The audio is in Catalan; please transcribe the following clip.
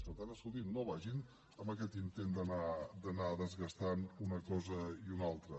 per tant escolti’m no vagin amb aquest intent d’anar desgastant una cosa i una altra